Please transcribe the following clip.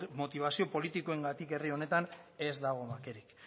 motibazio politikoengatik herri honetan ez dago bakerik